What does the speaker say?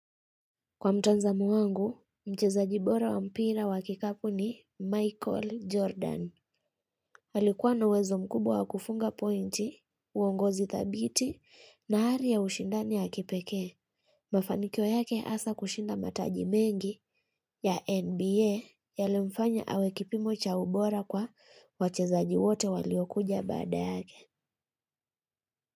Kwa mtanzamo wangu, mchezaji bora wa mpira wa kikapu ni Michael Jordan. Alikuwa na uwezo mkubwa kufunga pointi, uongozi thabiti, na hari ya ushindani ya kipeke. Mafanikyo yake asa kushinda mataji mengi ya NBA yalimfanya awe kipimo cha ubora kwa wacheza wote waliokuja badaa yake.